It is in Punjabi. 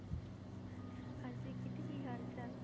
ਹਾਂਜੀ ਕਿੱਟੀ ਕੀ ਹਾਲ ਚਾਲ?